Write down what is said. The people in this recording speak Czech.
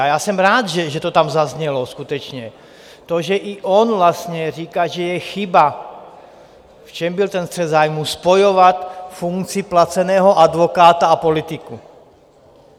A já jsem rád, že to tam zaznělo skutečně, to, že i on vlastně říká, že je chyba, v čem byl ten střet zájmů, spojovat funkci placeného advokáta a politiku.